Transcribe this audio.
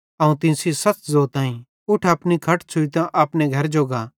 अवं तीं सेइं ज़ोतईं उठ अपनी खट छ़ुइतां अपने घरजो गा